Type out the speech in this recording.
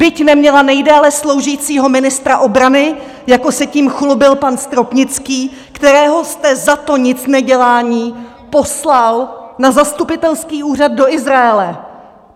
Byť neměla nejdéle sloužícího ministra obrany, jako se tím chlubil pan Stropnický, kterého jste za to nicnedělání poslal na zastupitelský úřad do Izraele.